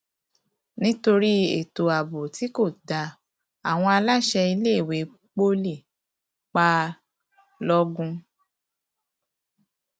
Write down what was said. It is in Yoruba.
nítorí ètò abo tí kò tí kò dáa àwọn aláṣẹ tí iléèwé poli pa lọgun